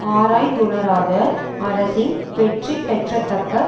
ஆராய்ந்துணராத அரசின் வெற்றிபெறத்தக்க